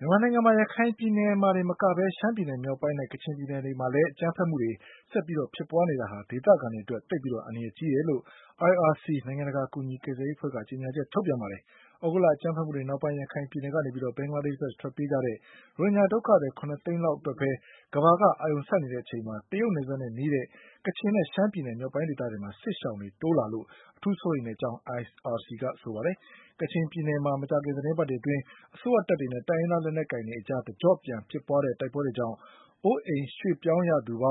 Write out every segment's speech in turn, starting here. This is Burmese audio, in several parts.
မြန်မာနိုင်ငံမှာ ရခိုင်ပြည်နယ်မှာတင်မကပဲ ရှမ်းပြည်မြောက်ပိုင်းနဲ့ ကချင်ပြည်နယ်တွေမှာ အကြမ်းဖက်မှုတွေ ဆက်ပြီးဖြစ်ပွါးနေတာဟာ ဒေသခံတွေအတွက် အန္တရာယ်သိပ်ကြီးတယ်လို့IRC နိုင်ငံတကာ ကယ်ဆယ်ကူညီရေးအဖွဲ့ က ကြေညာချက်ထုတ်ပြန်ခဲ့ ပါတယ်။ သြဂုတ်လ အကြမ်းဖက်မှုတွေနောက်ပိုင်း ရခိုင်ပြည်နယ်ကနေ ဘင်္ဂလားဒေ့ရှ် ဘက်ထွက်ပြေးကြတဲ့ ရိုဟင်ဂျာ ဒုက္ခသည် ၇ သိန်းလောက် အတွက်ပဲ ကမ္ဘာက အာရုံစိုက်နေချိန်မှာ တရုတ်နယ်စပ်နဲ့ နီးတဲ့ ကချင်နဲ့ ရှမ်းပြည်မြောက်ပိုင်းဒေသတွေမှာ စစ်ရှောင်တွေ တိုးလာတာအတွက် အထူးစိုးရိမ်ကြောင်း IRC ကပြောပါတယ်။ ကချင်ပြည်နယ်မှာ မကြာခင် သီတင်းပတ်တွေအတွင်း အစိုးရတပ်တွေနဲ့ တိုင်းရင်းသားလက်နက်ကိုင်တွေကြား တကျော့ပြန်ဖြစ်ပွါးတဲ့ တိုက်ပွဲတွေကြောင့် အိုးအိမ်ရွှေ့ပြောင်းရသူ ၅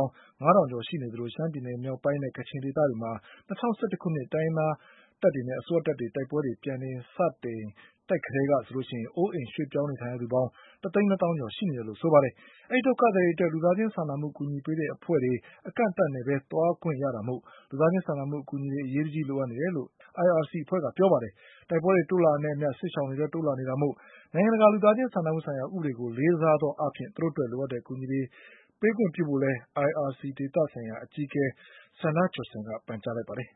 ၀၀၀ ကျော် ရှိနေသလို ရှမ်းပြည်နယ်မြောက်ပိုင်း နဲ့ ကချင်ဒေသမှာ ၂၀၁၁ ခုနှစ် တိုင်းရင်းသားတွေနဲ့ အစိုးရတပ်တွေရဲ့ တိုက်ပွဲတွေ ပြန်လည်စတင်ချိန် ကတည်းက ဆိုရင် အိုးအိမ်ရွှေ့ပြောင်းနေထိုင်ရသူပေါင်း တသိန်း နှစ်သောင်းကျော်ရှိနေတယ်လို့ ပြောပါတယ်။ ဒီ ဒုက္ခသည်တွေအတွက် လူသားချင်းစာနာမှု အကူညီပေးတဲ့ အဖွဲ့တွေ အကန့်အသတ်နဲ့သာ သွားခွင့်ရတာမို့ လူသားချင်းစာနာမှု အကူညီတွေ အရေးတကြီး လိုအပ်နေတယ်လို့ IRC ကပြောပါတယ်။ တိုက်ပွဲတွေတိုးလာတာနဲ့အမျှ စစ်ရှောင်တွေတိုးလာနေတာမို့ နိုင်ငံတကာလူသားချင်း စာနာမှုဆိုင်ရာ ဥပဒေကို လေးစားသောအားဖြင့် သူတို့အတွက် လိုအပ်တဲ့ အကူအညီတွေပေးခွင့်ပြုဖို့လည်း IRC ဒေသဆိုင်ရာ အကြီးအကဲ Sanna Johnson ကပန်ကြားလိုက်ပါတယ်။